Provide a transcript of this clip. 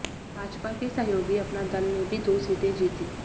भाजपा के सहयोगी अपना दल ने भी दो सीटें जीतीं